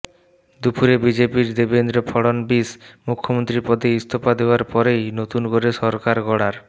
দুপুরে বিজেপির দেবেন্দ্র ফডণবীস মুখ্যমন্ত্রী পদে ইস্তফা দেওয়ার পরেই নতুন করে সরকার গড়ার